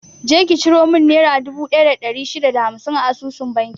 Je ki ciro mun nera dubu ɗaya da ɗari shida da hamsin a asusun banki na!